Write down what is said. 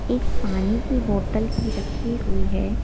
एक पानी की बोतल भी रखी हुई है।